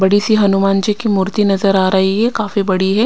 बड़ी सी हनुमान जी की मूर्ति नजर आ रही है काफी बड़ी है।